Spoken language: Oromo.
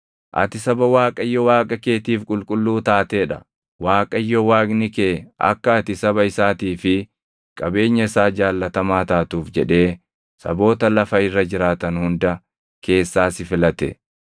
Ati saba Waaqayyo Waaqa keetiif qulqulluu taatee dha. Waaqayyo Waaqni kee akka ati saba isaatii fi qabeenya isaa jaallatamaa taatuuf jedhee saboota lafa irra jiraatan hunda keessaa si filate.